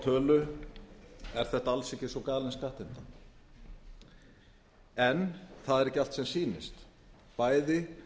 tölu er þetta alls ekki svo galin skattheimta en það er ekki allt sem sýnist bæði